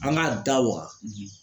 An ka da waga